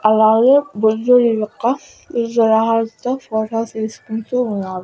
అలాగే బుద్ధుడి యొక్క విగ్రహాలతో ఫొటోస్ తీసుకుంటూ ఉన్నారు.